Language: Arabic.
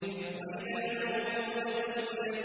وَإِذَا الْمَوْءُودَةُ سُئِلَتْ